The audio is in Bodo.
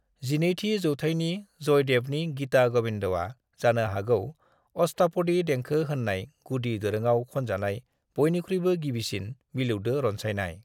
12थि जौथायनि जयदेवनि गीता ग'विंदआ जानो हागौ अष्टापदी देंखो होननाय गुदि दोरोंआव खनजानाय बयनिख्रुइबो गिबिसिन मिलौदो रनसायनाय।